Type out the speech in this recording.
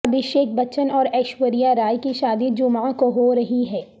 ابھیشیک بچن اور ایشوریہ رائے کی شادی جمعہ کو ہورہی ہے